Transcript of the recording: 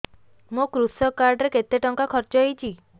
ମୋ କୃଷକ କାର୍ଡ ରେ କେତେ ଟଙ୍କା ଖର୍ଚ୍ଚ ହେଇଚି